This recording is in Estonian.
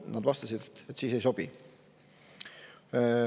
Nad vastasid, et siis neile ei sobi.